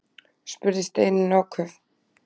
spurði Steinunn áköf.